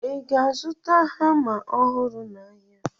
Ị ga-azụta hama ọhụrụ n'ahịa?